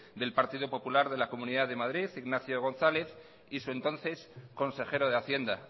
del partido popular de la comunidad de madrid ignacio gonzález y su entonces consejero de hacienda